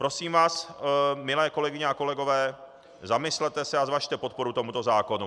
Prosím vás, milé kolegyně a kolegové, zamyslete se a zvažte podporu tomuto zákonu.